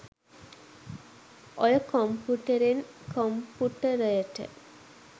ඔය කොම්පුටෙරෙන් කොම්පුටරයට